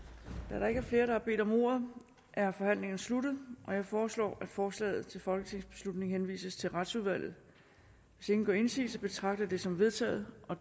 da der ikke er flere der har bedt om ordet er forhandlingen sluttet jeg foreslår at forslaget til folketingsbeslutning henvises til retsudvalget hvis ingen gør indsigelse betragter jeg det som vedtaget